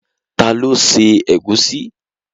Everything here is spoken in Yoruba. Ta ló se ẹ̀gúsí?